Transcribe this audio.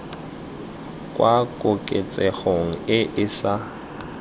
kwa koketsegong e e sa